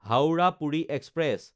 Howrah Puri express